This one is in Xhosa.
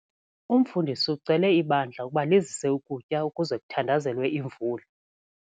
Umfundisi ucele ibandla ukuba lizise ukutya ukuze kuthandazelwe imvula.